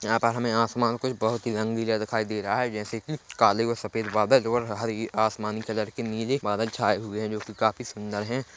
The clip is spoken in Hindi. यहाँ पर हमे आसमान कुछ बहुत ही रंगीला दिखाई दे रहा है जैसे की काले और सफेद बादल और हरी आसमान कलर कि नीली बादल छाए हुए हैं जो कि काफ़ी सुंदर है।